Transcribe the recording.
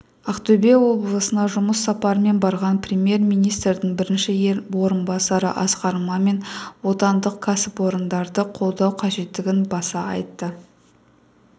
ақтөбе облысына жұмыс сапарымен барған премьер-министрдің бірінші орынбасары асқар мамин отандық кәсіпорындарды қолдау қажеттігін баса айтты